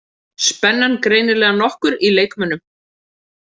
Spennan greinilega nokkur í leikmönnum